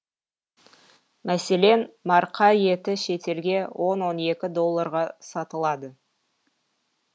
мәселен марқа еті шетелге он екі долларға сатылады